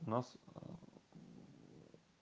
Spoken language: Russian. нас